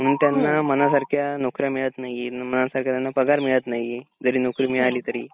म्हणून त्यांना मनासारख्या नोकऱ्या मिळत नाहीये मनासारखा त्यांना पगार मिळत नाहीये जरी नोकरी मिळाली तरी.